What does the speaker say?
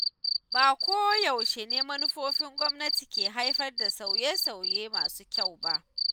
Ba ko yaushe ne manufofin gwamnati ke haifar da sauye-sauye masu kyau ba.